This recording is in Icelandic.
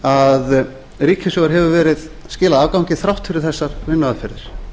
að ríkissjóður hefur skilað afgangi þrátt fyrir þessar vinnuaðferðir